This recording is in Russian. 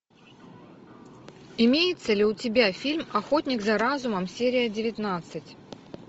имеется ли у тебя фильм охотник за разумом серия девятнадцать